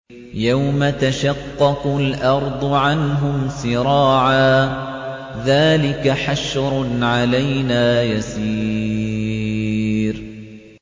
يَوْمَ تَشَقَّقُ الْأَرْضُ عَنْهُمْ سِرَاعًا ۚ ذَٰلِكَ حَشْرٌ عَلَيْنَا يَسِيرٌ